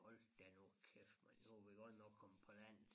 Hold da nu kæft mand nu vi godt nok kommet på landet